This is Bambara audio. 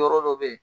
Yɔrɔ dɔ bɛ yen